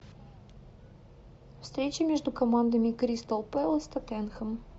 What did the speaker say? встреча между командами кристал пэлас тоттенхэм